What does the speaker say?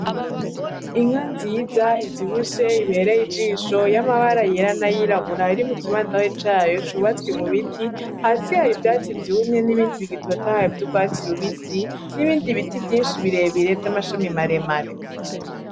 Inka nziza ivyibushe ibereye ijisho y'amabara yera, nayirabura iri mu kibandari cayo cubatswe mu biti hasi hari ivyatsi vyumye n'ibindi bigitotahaye vy'urwatsi rubisi n'ibindi biti vyinshi birebire vyam'amashami maremare.